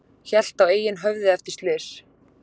Hélt á eigin höfði eftir slys